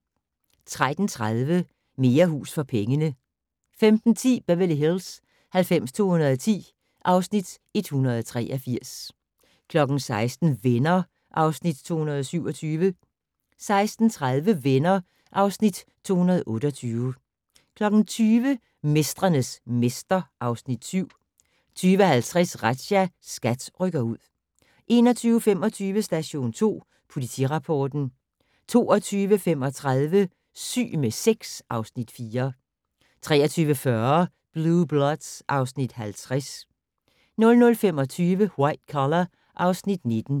13:30: Mere hus for pengene 15:10: Beverly Hills 90210 (Afs. 183) 16:00: Venner (Afs. 227) 16:30: Venner (Afs. 228) 20:00: Mestrenes mester (Afs. 7) 20:50: Razzia - SKAT rykker ud 21:25: Station 2 Politirapporten 22:35: Syg med sex (Afs. 4) 23:40: Blue Bloods (Afs. 50) 00:25: White Collar (Afs. 19)